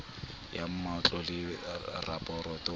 ya mmabotle le rabotle ba